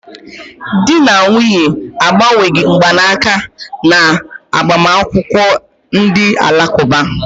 Di na nwunye a agbanweghị mgbanaka na agbamakwụkwọ Ndi alakuba.